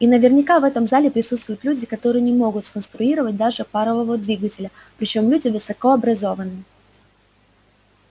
и наверняка в этом зале присутствуют люди которые не могут сконструировать даже парового двигателя причём люди высоко образованы